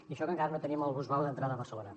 i això que encara no tenim el busvao d’entrada a barcelona